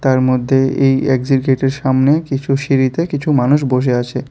তার মধ্যেই এই এক্সিট গেটের সামনে কিছু সিঁড়িতে কিছু মানুষ বসে আছে।